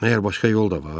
Məgər başqa yol da var?